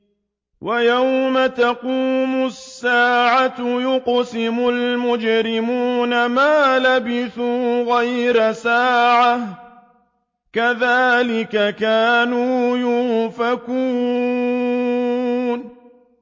وَيَوْمَ تَقُومُ السَّاعَةُ يُقْسِمُ الْمُجْرِمُونَ مَا لَبِثُوا غَيْرَ سَاعَةٍ ۚ كَذَٰلِكَ كَانُوا يُؤْفَكُونَ